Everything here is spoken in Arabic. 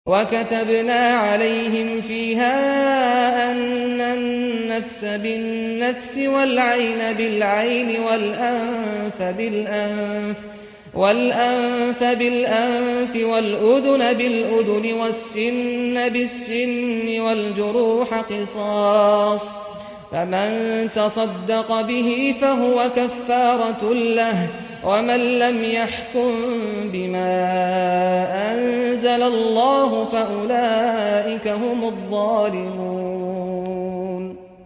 وَكَتَبْنَا عَلَيْهِمْ فِيهَا أَنَّ النَّفْسَ بِالنَّفْسِ وَالْعَيْنَ بِالْعَيْنِ وَالْأَنفَ بِالْأَنفِ وَالْأُذُنَ بِالْأُذُنِ وَالسِّنَّ بِالسِّنِّ وَالْجُرُوحَ قِصَاصٌ ۚ فَمَن تَصَدَّقَ بِهِ فَهُوَ كَفَّارَةٌ لَّهُ ۚ وَمَن لَّمْ يَحْكُم بِمَا أَنزَلَ اللَّهُ فَأُولَٰئِكَ هُمُ الظَّالِمُونَ